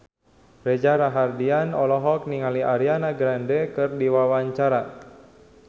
Reza Rahardian olohok ningali Ariana Grande keur diwawancara